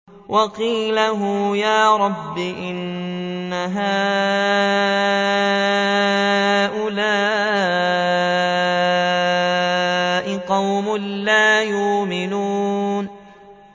وَقِيلِهِ يَا رَبِّ إِنَّ هَٰؤُلَاءِ قَوْمٌ لَّا يُؤْمِنُونَ